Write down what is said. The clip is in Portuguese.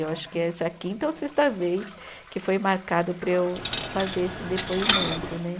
Eu acho que é essa quinta ou sexta vez que foi marcado para eu fazer esse depoimento, né?